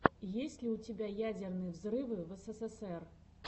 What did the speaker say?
есть ли у тебя ядерные взрывы в эсэсэсэр